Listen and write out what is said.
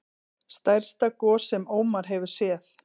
Stærsta gos sem Ómar hefur séð